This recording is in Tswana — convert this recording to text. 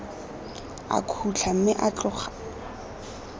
a khutla mme o tloga